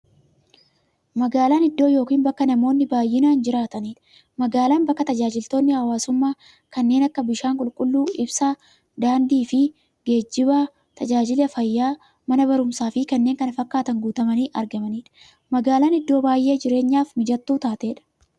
Magaalan iddoo yookiin bakka namoonni baay'inaan jiraataniidha. Magaalan bakka taajajilootni hawwaasummaa kanneen akka; bishaan qulqulluu, ibsaa, daandiifi geejjiba, taajajila fayyaa, Mana baruumsaafi kanneen kana fakkatan guutamanii argamaniidha. Magaalan iddoo baay'ee jireenyaf mijattuu taateedha.